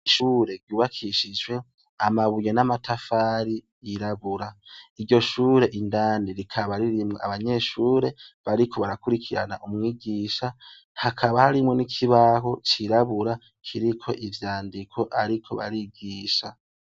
ishure ryubakishijwe amabuye n'amatafari yirabura iryo shure indani rikaba ririmwo abanyeshure bariko barakurikirana umwigisha hakaba harimwo n'ikibaho cirabura kiriko ivyandiko ariko barigisha